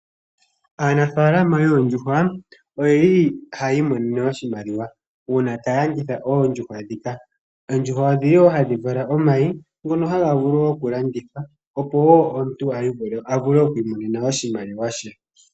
Aanafaalama yoondjuhwa oyeli hayi imonene oshimaliwa uuna taya landitha oondjuhwa ndhika. Oondjuhwa odhili woo hadhi vala omayi ngono haga vulu okulandithwa opo woo omuntu avule oku imonena oshimaliwa she